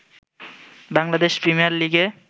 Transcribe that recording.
Bangladesh premier লীগে